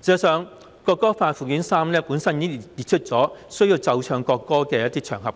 事實上，《條例草案》附表3本身已列出一些須奏唱國歌的場合，